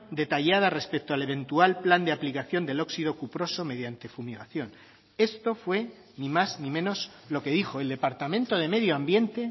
detallada respecto al eventual plan de aplicación del óxido cuproso mediante fumigación esto fue ni más ni menos lo que dijo el departamento de medio ambiente